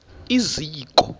iziko